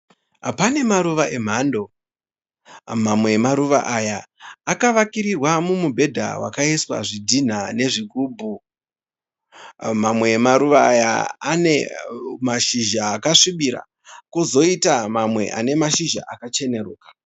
Pane maruva emhando mamwe emaruva aya akavakirwa midhedha wakaiswa zvidhina nezvigubhu. Mamwe emaruva aya ane mashizha akasvibira kozoita mamwe ane mashizha akachenuruka.